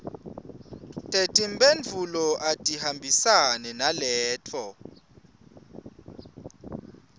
tetimphendvulo atihambisane naleto